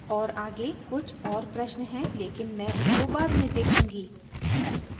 और आगे कुछ और प्रश्न हैं लेकिन मैं उनको बाद में देखूँगी